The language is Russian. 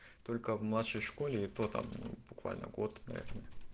только в младшей школе и то там ну буквально год наверное